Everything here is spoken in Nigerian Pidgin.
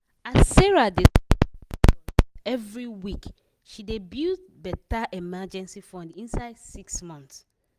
as sarah dey save fifty dollars every week she build better emergency fund inside six months